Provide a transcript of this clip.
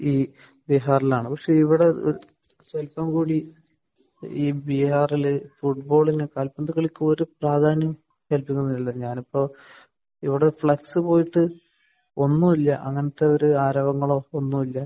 ഈ ബിഹാറിൽ ആണ്. പക്ഷെ ഇവിടെ സ്വല്പം കൂടി ഈ ബിഹാറിൽ ഫുട്ബോളിന് കാൽപന്ത് കളിക്ക് ഒരു പ്രാധാന്യവും കൽപ്പിക്കുന്നില്ല. ഞാൻ ഇപ്പോൾ ഇവിടെ ഫ്ളക്സ് പോയിട്ട് ഒന്നും ഇല്ല. അങ്ങനത്തെ ഒരു ആരവങ്ങളോ ഒന്നുമില്ല.